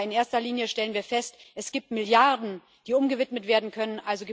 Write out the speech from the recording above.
Aber in erster Linie stellen wir fest Es gibt Milliarden, die umgewidmet werden können.